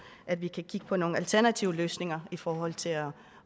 at vi kan kigge på nogle alternative løsninger i forhold til at